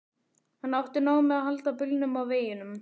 Hann átti nóg með að halda bílnum á veginum.